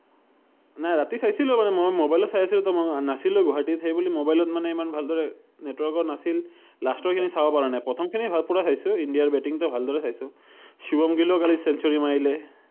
নাই, ৰাতি চাইছিলো মানে মই ম’বাইলত চাই আছিলো তো মই নাছিলোয়ে গুৱাহাটীত৷ সেইবুলি ম’বাইলত মানে ইমান ভালদৰে, network ও নাছিল, last ৰ খিনি চাব পৰা নাই৷ প্ৰথন খিনি হয় পোৰা চাইছো৷ ইন্ডিয়া ৰ বেটিং টো ভালদৰে চাইছো৷ সুভম কালি century মাৰিলে৷